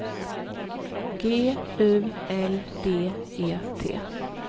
G U L D E T